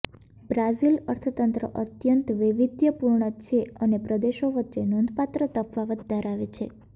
Brazil અર્થતંત્ર અત્યંત વૈવિધ્યપુર્ણ છે અને પ્રદેશો વચ્ચે નોંધપાત્ર તફાવત ધરાવે છે